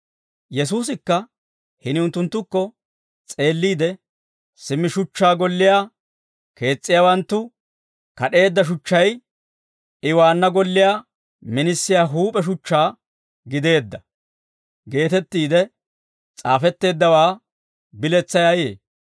Yesuusikka hini unttunttukko s'eelliide, « ‹Simmi shuchchaa golliyaa kees's'iyaawanttu kad'eedda shuchchay, I waanna golliyaa minisiyaa huup'e shuchchaa gideedda› geetettiide s'aafetteeddawaa biletsay ayee?